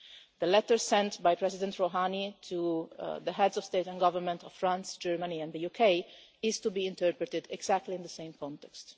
The letter sent by President Rouhani to the Heads of State and Government of France, Germany and the UK is to be interpreted exactly in the same context.